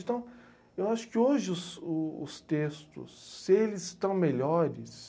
Então, eu acho que hoje o os textos, se eles estão melhores...